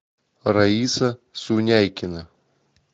раиса суняйкина